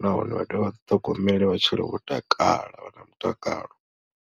nahone vha dovhe vha ḓiṱhogomele vha tshile vho takala vha na mutakalo.